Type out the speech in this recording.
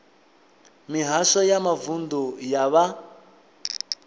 mihasho ya mavunḓu ya vha